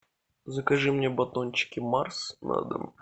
закажи мне батончики марс на дом